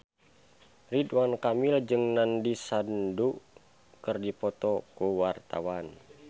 Ridwan Kamil jeung Nandish Sandhu keur dipoto ku wartawan